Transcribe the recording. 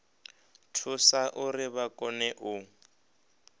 thusa uri vha kone u